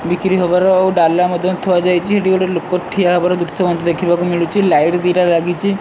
ବିକ୍ରି ହବାର ଆଉ ଡାଲା ମଧ୍ୟ ଥୁଆ ଯାଇଚି ଏଠି ଗୋଟେ ଲୋକୋ ଠିଆ ହବାର ଦୃଶ୍ୟ ମଧ୍ୟ ଦେଖିବାକୁ ମିଳୁଛି ଲାଇଟ୍ ଦିଟା ଲାଗିଛି।